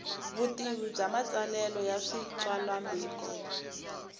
vutivi bya matsalelo ya switsalwambiko